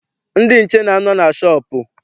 Ndị nche na-anọ na shọọpụ.